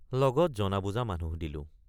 লগত জনাবুজা মানুহ দিলোঁ।